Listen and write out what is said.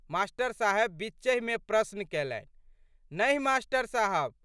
मा.साहेब बीचहिमे प्रश्न कैलनि। नहि मास्टर साहब।